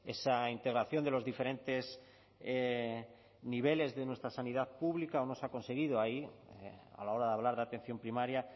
esa integración de los diferentes niveles de nuestra sanidad pública o no se ha conseguido ahí a la hora de hablar de atención primaria